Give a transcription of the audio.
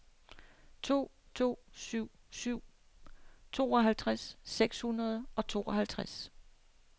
to to syv syv tooghalvtreds seks hundrede og tooghalvtreds